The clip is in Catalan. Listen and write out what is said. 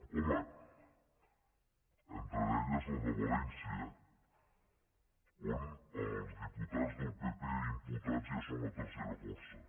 home entre elles la de valència on els diputats del pp imputats ja són la tercera força